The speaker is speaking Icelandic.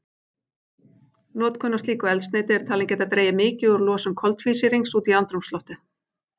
Notkun á slíku eldsneyti er talin geta dregið mikið úr losun koltvísýrings út í andrúmsloftið.